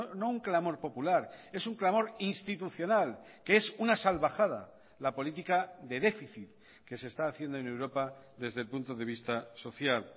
no un clamor popular es un clamor institucional que es una salvajada la política de déficit que se está haciendo en europa desde el punto de vista social